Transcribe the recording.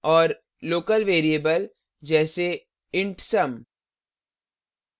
और local variable जैसे: int sum